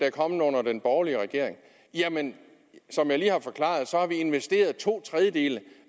er kommet under den borgerlige regering jamen som jeg lige har forklaret har vi investeret to tredjedele